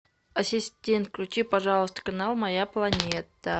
ассистент включи пожалуйста канал моя планета